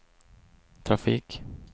trafik